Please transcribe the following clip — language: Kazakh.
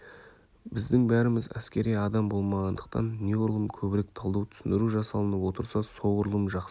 біздің бәріміз әскери адам болмағандықтан неғұрлым көбірек талдау түсіндіру жасалынып отырса соғұрлым жақсы